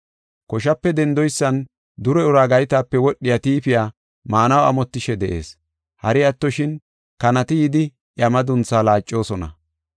Koshape dendoysan dure ura gaytape wodhiya tiifiya maanaw amotishe de7ees. Hari attoshin, kanati yidi iya maduntha laacosona.